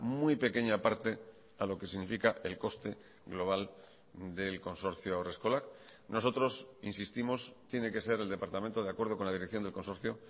muy pequeña parte a lo que significa el coste global del consorcio haurreskolak nosotros insistimos tiene que ser el departamento de acuerdo con la dirección del consorcio